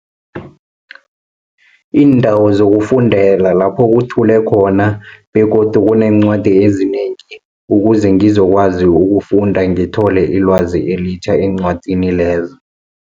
Iindawo zokufundela lapho kuthi thule khona, begodu kuneencwadi ezinengi, ukuze ngizokwazi ukufunda, ngithole ilwazi elitjha eencwadini lezo.